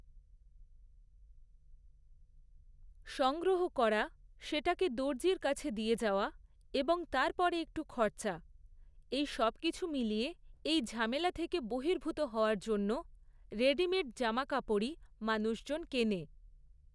সংগ্রহ করা, সেটাকে দর্জির কাছে দিয়ে যাওয়া, এবং তারপরে একটু খরচা, সেই সবকিছু মিলিয়ে এই ঝামেলা থেকে বহির্ভূত হওয়ার জন্য রেডিমেড জামাকাপড়ই মানুষজন কেনে।